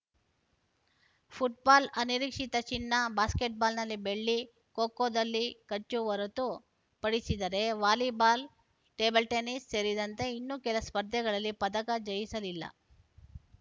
football ಅನಿರೀಕ್ಷಿತ ಚಿನ್ನ ಬಾಸ್ಕೆಟ್‌ಬಾಲ್‌ನಲ್ಲಿ ಬೆಳ್ಳಿ ಖೋ ಖೋದಲ್ಲಿ ಕಚು ಹೊರತು ಪಡಿಸಿದರೆ ವಾಲಿಬಾಲ್‌ ಟೇಬಲ್‌ ಟೆನಿಸ್‌ ಸೇರಿದಂತೆ ಇನ್ನೂ ಕೆಲ ಸ್ಪರ್ಧೆಗಳಲ್ಲಿ ಪದಕ ಜಯಿಸಲಿಲ್ಲ